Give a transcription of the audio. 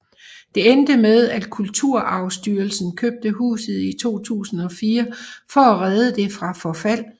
Det endte med at Kulturarvsstyrelsen købte huset i 2004 for at redde det fra forfald